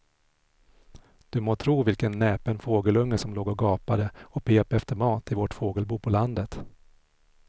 Du må tro vilken näpen fågelunge som låg och gapade och pep efter mat i vårt fågelbo på landet.